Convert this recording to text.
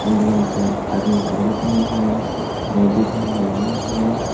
आदमी कपड़ा पहने हैं लेडीज हैं मर्दाना हैं।